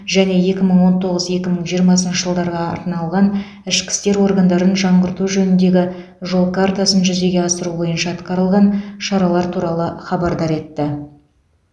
және екі мың он тоғыз екі мың жиырма жылдарға арналған ішкі істер органдарын жаңғырту жөніндегі жол картасын жүзеге асыру бойынша атқарылған шаралар туралы хабардар етті